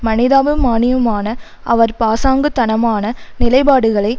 மனிதாபிமானியுமான அவர் பாசாங்குத்தனமான நிலைப்பாடுகளை